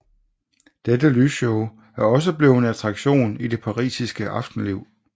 Dette lysshow er også blevet en attraktion i det parisiske aftenliv